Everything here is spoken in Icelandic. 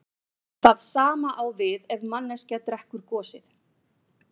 Það sama á við ef manneskja drekkur gosið.